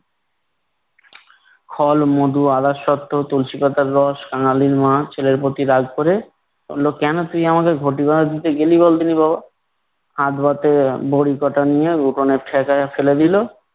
ফল মধু, আদাসত্ব, তুলসী পাতার রস। কাঙালির মা ছেলের প্রতি রাগ করে বললো কেন তুই আমাকে ঘটি বাঁধা দিতে গেলি বল দেখি বাবা। হাত হতে বড়ি কটা নিয়ে উঠানে ফ্যাকাইয়া ফেলে দিলো।